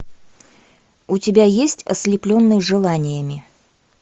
у тебя есть ослепленные желаниями